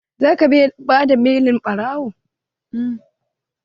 Za ka bada belin ɓarawon?